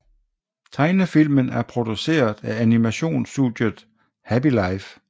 Tegnefilmen er produceret af animationsstudiet Happy Life